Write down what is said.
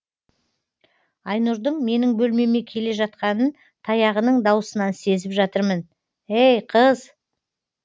айнұрдың менің бөлмеме келе жатқанын таяғының даусынан сезіп жатырмын ей қыз